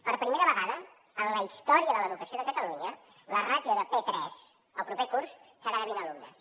per primera vegada en la història de l’educació de catalunya la ràtio de p3 el proper curs serà de vint alumnes